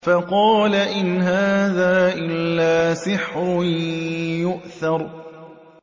فَقَالَ إِنْ هَٰذَا إِلَّا سِحْرٌ يُؤْثَرُ